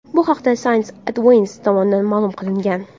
Bu haqda Science Advances tomonidan ma’lum qilingan .